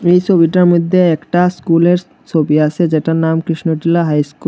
এই ছবিটার মইধ্যে একটা স্কুলের ছবি আছে যেটার নাম কৃষ্ণচুলা হাই স্কুল ।